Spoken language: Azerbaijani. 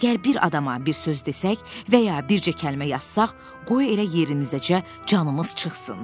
Əgər bir adama bir söz desək və ya bircə kəlmə yazsaq, qoy elə yerimizdəcə canımız çıxsın.